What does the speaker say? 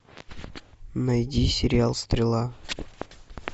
найди сериал стрела